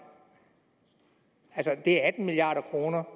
det er et milliard kroner